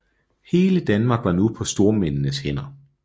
Hele Danmark var nu på stormændenes hænder